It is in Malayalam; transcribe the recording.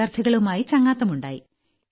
വിദ്യാർത്ഥികളുമായി ചങ്ങാത്തമുണ്ടായി